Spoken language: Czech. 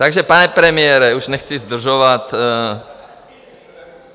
Takže pane premiére, už nechci zdržovat.